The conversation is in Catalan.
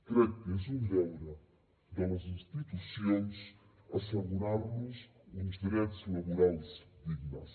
crec que és un deure de les institucions assegurar los uns drets laborals dignes